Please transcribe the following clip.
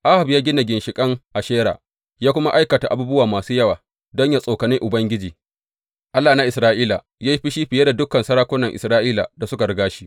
Ahab ya gina ginshiƙin Ashera, ya kuma aikata abubuwa masu yawa don yă tsokane Ubangiji, Allah na Isra’ila yă yi fushi fiye da dukan sarakunan Isra’ila da suka riga shi.